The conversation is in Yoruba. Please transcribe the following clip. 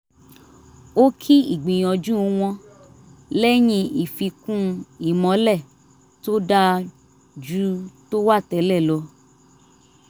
ó kí ìgbìnyanju wọn lẹ́yìn ìfíkún ìmọ́lẹ̀ tó dáa ju tó wà tẹ́lẹ̀ lọ